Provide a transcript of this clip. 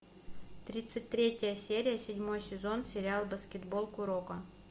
тридцать третья серия седьмой сезон сериал баскетбол куроко